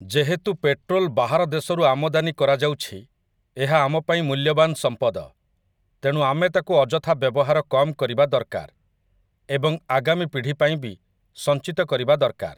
ଯେହେତୁ ପେଟ୍ରୋଲ୍ ବାହାର ଦେଶରୁ ଆମଦାନୀ କରାଯାଉଛି, ଏହା ଆମ ପାଇଁ ମୂଲ୍ୟବାନ ସମ୍ପଦ । ତେଣୁ ଆମେ ତାକୁ ଅଯଥା ବ୍ୟବହାର କମ କରିବା ଦରକାର ଏବଂ ଆଗାମୀ ପିଢ଼ି ପାଇଁ ବି ସଞ୍ଚିତ କରିବା ଦରକାର ।